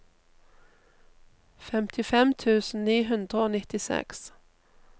femtifem tusen ni hundre og nittiseks